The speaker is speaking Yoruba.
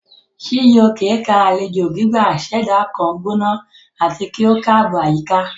Chijioke ká alejo gbigba ṣẹda kan gbona ati ki o kaabo ayika.